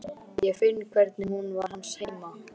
Ég finn hvernig hún var hans heima.